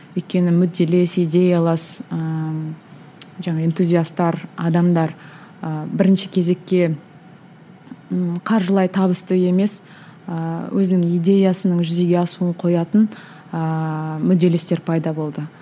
өйткені мүдделес идеялас ыыы жаңа энтузиастар адамдар ы бірінші кезекке ммм қаржылай табысты емес ыыы өзінің идеясының жүзеге асуын қоятын ыыы мүдделестер пайда болды